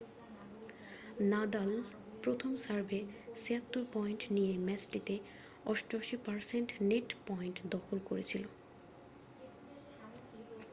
Nadal প্রথম সার্ভে 76 point নিয়ে ম্যাচটিতে 88% নেট পয়েন্ট দখল করেছিল